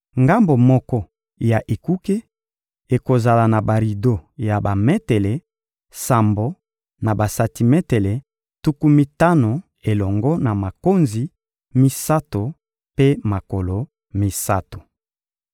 Ngambo moko ya ekuke ekozala na barido ya bametele sambo na basantimetele tuku mitano elongo na makonzi misato mpe makolo misato.